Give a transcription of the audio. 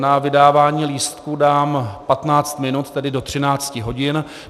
Na vydávání lístků dám 15 minut, tedy do 13 hodin.